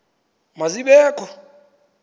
ma zibe kho